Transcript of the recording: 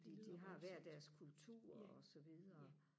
det lyder voldssomt ja ja